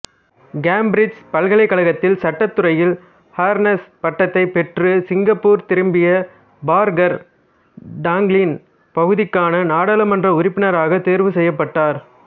Cambridge பல்கலைக்கழகத்தில் சட்டத்துறையில் honours பட்டத்தைப் பெற்றுச் சிங்கப்பூர் திரும்பிய பார்க்கர் டாங்லின் பகுதிக்கான நாடாளுமன்ற உறுப்பினராகத் தேர்வு செய்யப்பட்டார்